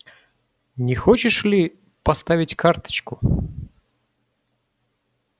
не хочешь ли поставить карточку